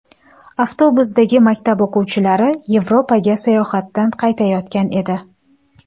Avtobusdagi maktab o‘quvchilari Yevropaga sayohatdan qaytayotgan edi.